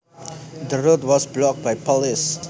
The road was blocked by police